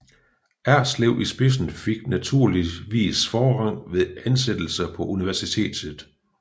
Erslev i spidsen fik naturligvis forrang ved ansættelser på universitetet